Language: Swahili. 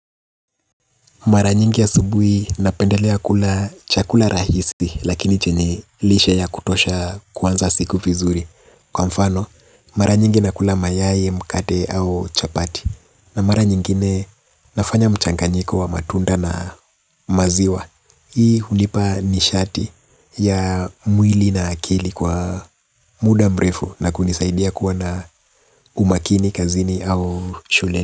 Mara nyingi asubuhi napendelea kula chakula rahisi lakini chenye lishe ya kutosha kuanza siku vizuri. Kwa mfano, mara nyingi nakula mayai, mkate au chapati. Na mara nyingine nafanya mchanganyiko wa matunda na maziwa. Hii hunipa nishati ya mwili na akili kwa muda mrefu na kunisaidia kuwa na umakini, kazini au shuleni.